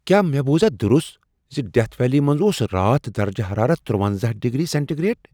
کیٛاہ مےٚ بوزاہ درست زِ ڈیتھ ویلی منٛز اوس راتھ درجہ حرارت تُرونزَہ ڈگری سینٹی گریڈ؟